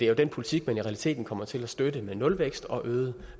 jo den politik man i realiteten kommer til at støtte med nulvækst og øget